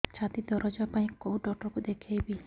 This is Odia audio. ଛାତି ଦରଜ ପାଇଁ କୋଉ ଡକ୍ଟର କୁ ଦେଖେଇବି